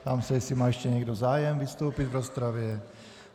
Ptám se, jestli má ještě někdo zájem vystoupit v rozpravě.